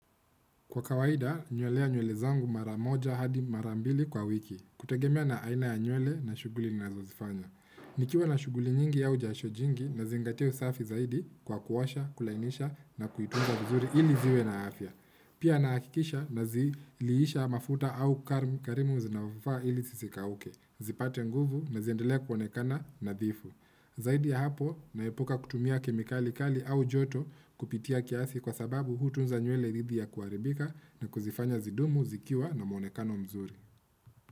Kwa kawaida, nywelea nywele zangu mara moja hadi mara mbili kwa wiki, kutegemea na aina ya nywele na shuguli ninazozifanya. Nikiwa na shuguli nyingi au jasho jingi nazingatia usafi zaidi kwa kuosha, kulainisha na kuitunza vizuri ili ziwe na afya. Pia nahakikisha naziliisha mafuta au karimu karimu zinazofaa ili zisikauke, zipate nguvu na ziendelea kuonekana nadhifu. Zaidi ya hapo, naepuka kutumia kemikali kali au joto kupita kiasi kwa sababu hutunza nywele dhidi ya kuharibika na kuzifanya zidumu, zikiwa na muonekano mzuri.